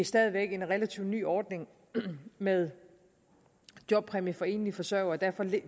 stadig væk en relativt ny ordning med jobpræmie for enlige forsørgere og derfor